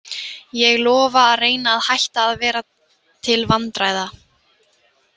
Ég lofa að reyna að hætta að vera til vandræða.